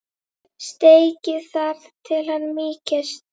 Steikið þar til hann mýkist.